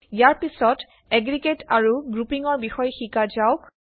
ইয়াৰ পিছত এগ্ৰিগেট আৰু গ্ৰুপিঙৰ বিষয়ে শিকা যাওক